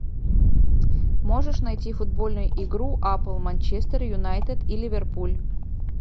можешь найти футбольную игру апл манчестер юнайтед и ливерпуль